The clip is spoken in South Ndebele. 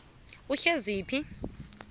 uhleziphi